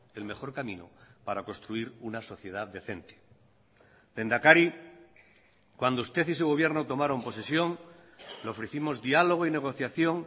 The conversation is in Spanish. el mejor camino para construir una sociedad decente lehendakari cuando usted y su gobierno tomaron posesión le ofrecimos diálogo y negociación